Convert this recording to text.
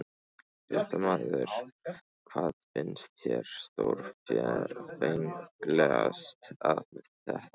Fréttamaður: Hvað finnst þér stórfenglegast við þetta?